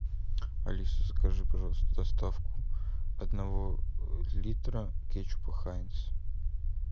алиса закажи пожалуйста доставку одного литра кетчупа хайнц